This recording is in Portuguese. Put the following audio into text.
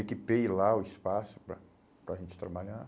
Equipei lá o espaço para para a gente trabalhar.